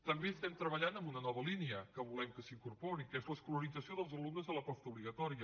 també estem treballant en una nova línia que volem que s’incorpori que és l’escolarització dels alumnes a la postobligatòria